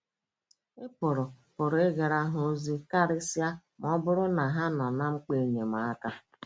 Ị̀ pụrụ pụrụ ịgara ha ozi, karịsịa ma ọ bụrụ na ha nọ ná mkpa enyemaka?